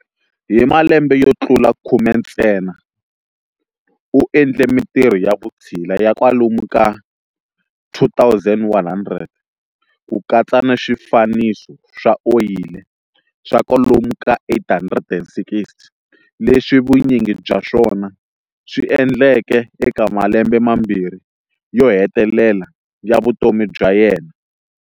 Hi malembe yo tlula khume ntsena, u endle mintirho ya vutshila ya kwalomu ka 2 100, ku katsa ni swifaniso swa oyili swa kwalomu ka 860, leswi vunyingi bya swona swi endleke eka malembe mambirhi yo hetelela ya vutomi bya yena.